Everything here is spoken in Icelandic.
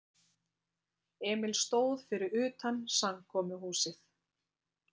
Emil stóð fyrir utan samkomuhúsið.